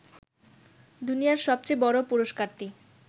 দুনিয়ার সবচেয়ে বড় পুরস্কারটি